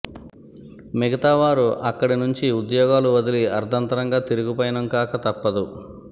మిగతా వారు అక్కడి నుంచి ఉద్యోగాలు వదిలి అర్ధంతరంగా తిరుగుపయనం కాక తప్పదు